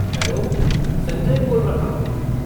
Hello, Sanjay बोल रहा हूँ।